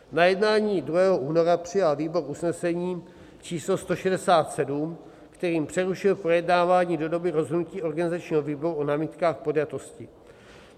Na jednání 2. února přijal výbor usnesení číslo 167, kterým přerušil projednávání do doby rozhodnutí organizačního výboru o námitkách podjatosti.